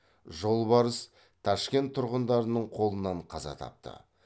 жолбарыс ташкент тұрғындарының қолынан қаза тапты